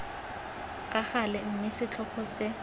ka gale mme setlhogo se